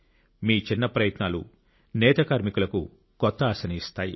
మీ చిన్న ప్రయత్నాలు నేత కార్మికులకు కొత్త ఆశను ఇస్తాయి